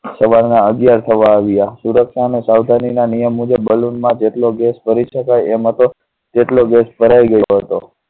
સવાર ના અગ્યાર થવા આવ્યા સુરક્ષા અને સાવધાની ના નિયમ મુજબ balloon માં જેટલો gas પરિ ષ્કા એ મતો જેટલો ભરાઈ ગયો હતો.